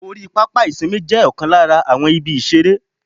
Orí pápá ìsinmi jé Òkan lára àwọn ibi ìṣeré